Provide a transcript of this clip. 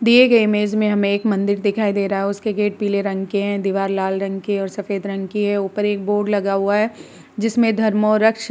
दिए गए इमेज में हमे एक मंदिर दिखाई दे रहा है। उसके गेट पिले रंग के हैं। दीवाल लाल रंग के और सफ़ेद रंग की है। ऊपर एक बोर्ड लगा हुआ है। जिसमे धर्मों रक्ष --